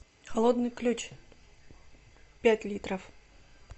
холодный ключ пять литров